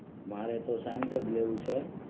મારે તો સાયન્સજ લેવુ છે.